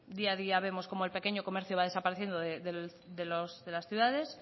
día a día vemos como el pequeño comercio va desapareciendo de las ciudades